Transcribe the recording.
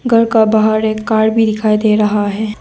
घर का बाहर एक कार भी दिखाई दे रहा है।